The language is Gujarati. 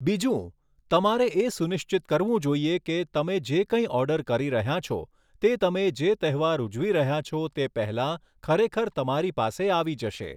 બીજું, તમારે એ સુનિશ્ચિત કરવું જોઈએ કે તમે જે કંઈ ઑર્ડર કરી રહ્યાં છો તે તમે જે તહેવાર ઉજવી રહ્યાં છો તે પહેલાં ખરેખર તમારી પાસે આવી જશે.